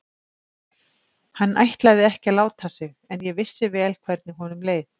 Hann ætlaði ekki að láta sig en ég vissi vel hvernig honum leið.